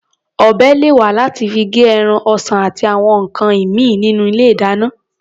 Ọ̀bẹ lè wà láti fi gé ẹran, ọsàn àti àwọn nǹkan ìmíì nínú ilé-ìdáná.